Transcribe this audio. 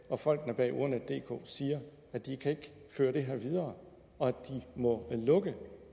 og folkene bag ordnetdk siger at de ikke kan køre det her videre og må lukke